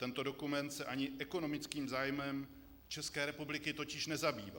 Tento dokument se ani ekonomickým zájmem České republiky totiž nezabývá.